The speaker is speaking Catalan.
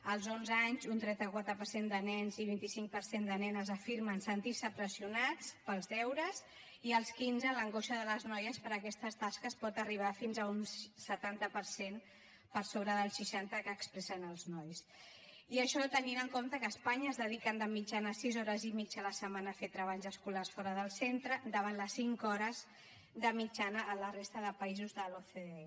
als onze anys un trenta quatre per cent de nens i un vint cinc per cent de nenes afirmen sentir se pressionats pels deures i als quinze l’angoixa de les noies per aquestes tasques pot arribar fins a un setanta per cent per sobre del seixanta que expressen els nois i això tenint en compte que a espanya es dediquen de mitjana sis hores i mitja a la setmana a fer treballs escolars fora del centre davant les cinc hores de mitjana a la resta de països de l’ocde